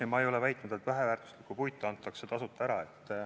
Ei, ma ei ole väitnud, et väheväärtuslikku puitu antakse tasuta ära.